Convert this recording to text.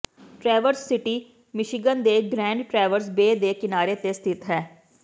Traverse City Michigan ਦੇ Grand Traverse Bay ਦੇ ਕਿਨਾਰੇ ਤੇ ਸਥਿਤ ਹੈ